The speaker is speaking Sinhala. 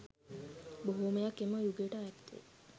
බොහෝමයක් එම යුගයට අයත් වේ